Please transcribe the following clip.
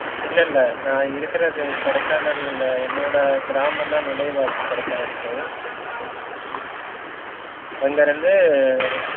இல்ல இல்ல நா இருக்குறது கொடைக்கானல்ல என்னோட கிராமம் தான் நுழைவாயில் கொடைக்கானலுக்கு அங்கயிருந்து